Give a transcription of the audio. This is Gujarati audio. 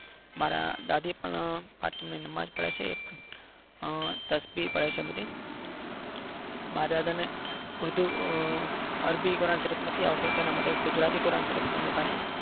મારા દાદી પણ પાંચ time ને નમાજ પડે છે આ તસ્વીર પડે છે બધી મારા દાદાને અડધું અરબી કરન્સીપ નથી આવડતું તેના માટે ગુજરાતી કરન્સીપ છે એના પાસે.